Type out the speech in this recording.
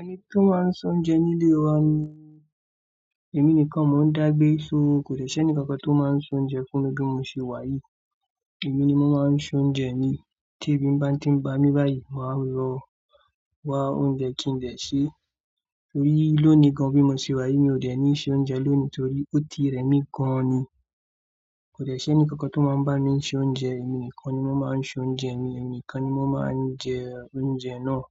Ẹni tó máa n soúnjẹ nílé wa ni? Èmi nìkan mo ń dá gbé, so kò de ṣeni kankan tó máa n soúnjẹ fún mi bí mo ṣe wá yìí. Èmi ni mo máa n soúnjẹ mi. Tí èbi bá ń tí ń pá mi báyìí, màá lọ wá oúnjẹ kí n dè ṣè. Torí ló ni gan bí mo ṣe wá yìí. Mi ò dẹ̀ ní se oúnjẹ lónìí torí ó ti rẹmi gan ni. Kò dẹ̀ ṣeni kankan tó máa ń bá mi ṣe oúnjẹ. Èmi nìkan ni mo máa n ṣoúnjẹ mi. Èmi nìkan ni mo máa n jẹ oúnjẹ náà.